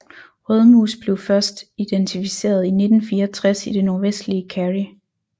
Rødmus blev først identificeret i 1964 i det nordvestlige Kerry